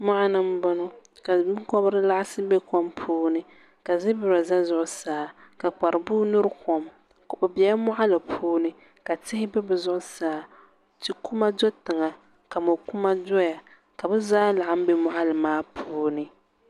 moɣini n bɔŋɔ ka bɛkobiri laɣisi bɛ kom puuni ka zibira za zuɣ' saa ka kpari bua yuri kom o pɛla moɣili puuni ka tihi bɛ di zuɣ' saa tikuma bɛ zuɣ' saa mo kuma doya ka buhi zaa bɛ di puuni